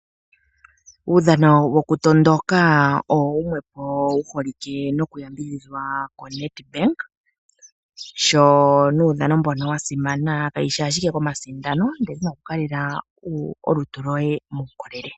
Uudhano wo kutondoka owo wumwe po wu holike noku yambidhidhwa koNedbank. Sho nuudhano mbuno wasimana kayishi ashike komasidano ndele nokukaleka olutu lwoye muukolele.